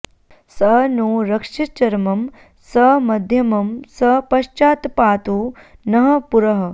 स नो॑ रक्षिषच्चर॒मं स म॑ध्य॒मं स प॒श्चात्पा॑तु नः पु॒रः